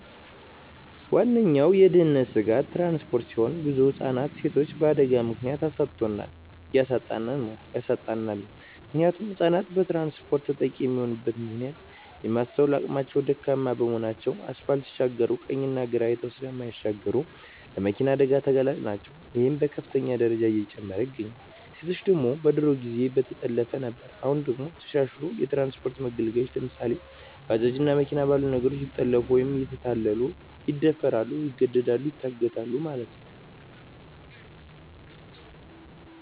ዋነኛዉ የድህንነት ስጋት ትራንስፖርት ሲሆን ብዙ ህፃናትንና ሴቶችን በአደጋ ምክንያት አሳጥቶናል እያሳጣን ነዉ ያሳጣናልም። ምክንያቱም ህፃናት በትራንስፖርት ተጠቂ የሚሆኑበት ምክንያት የማስትዋል አቅማቸዉ ደካማ በመሆናቸዉ አስፓልት ሲሻገሩ ቀኝና ግራ አይተዉ ስለማይሻገሩ ለመኪና አደጋ ተጋላጭ ናቸዉ ይሄም በከፍተኛ ደረጃ እየጨመረ ይገኛል። ሴቶች ደግሞ በድሮ ጊዜ በጠለፋ ነበር አሁን ደግሞ ተሻሽልሎ በትራንስፖርት መገልገያወች ለምሳሌ፦ ባጃጅ እና መኪና ባሉ ነገሮች እየተጠለፊፉ ወይም እየተታለሉ ይደፈራሉ ይገደላሉ ይታገታሉ ማለት ነዉ።